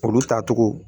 Olu tacogo